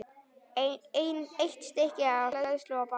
Eitt stykki hleðslu og banana.